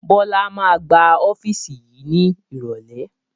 Bọlá máa gbá ọ́fíìsì yìí ní irọ̀lẹ́